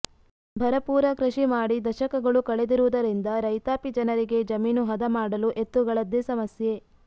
ಭರಪೂರ ಕೃಷಿ ಮಾಡಿ ದಶಕಗಳು ಕಳೆದಿರುವುದರಿಂದ ರೈತಾಪಿ ಜನರಿಗೆ ಜಮೀನು ಹದ ಮಾಡಲು ಎತ್ತುಗಳದ್ದೇ ಸಮಸ್ಯೆ